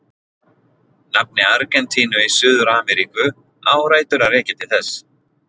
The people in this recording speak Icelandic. Nafn Argentínu í Suður-Ameríku á rætur að rekja til þess.